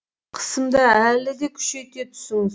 қысымды әлі де күшейте түсіңіз